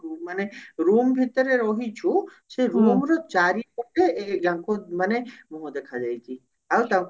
ମାନେ room ଭିତରେ ରହିଛୁ ସେ room ର ଚାରିପଟେ ଆଙ୍କୁ ମାନେ ମୁହଁ ଦେଖାଯାଇଛି ଆଉ ତାଙ୍କୁ